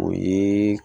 O ye